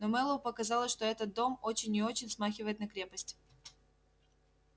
но мэллоу показалось что этот дом очень и очень смахивает на крепость